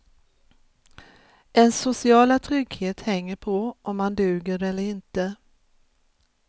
Ens sociala trygghet hänger på om man duger eller inte.